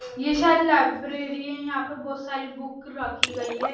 यह शायद लाइब्रेरी है यहां पर बहुत सारी बुक रखी गई हैं।